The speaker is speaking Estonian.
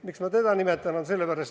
Miks ma teda nimetan?